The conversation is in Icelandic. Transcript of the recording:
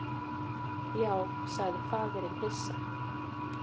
Já, sagði faðirinn hissa.